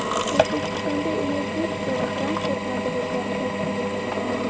O‘zbekistonda energetika va transport vazirliklari tashkil etiladi.